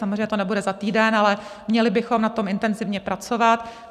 Samozřejmě to nebude za týden, ale měli bychom na tom intenzivně pracovat.